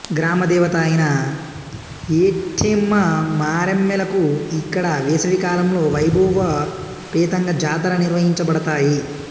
గ్రామదేవత అయిన ఏట్టెమ్మ మరెమ్మలకు ఇక్కడ వేసవికాలంలో వైభవోపేతంగా జాతర నిర్వహించబడతాయి